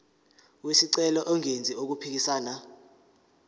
wesicelo engenzi okuphikisana